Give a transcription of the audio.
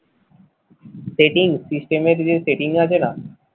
setting system এর যে setting থাকে না?